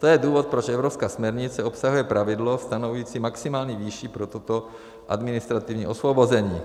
To je důvod, proč evropská směrnice obsahuje pravidlo stanovující maximální výši pro toto administrativní osvobození.